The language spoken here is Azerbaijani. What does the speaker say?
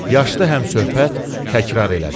Yaşlı həmsöhbət təkrar elədi.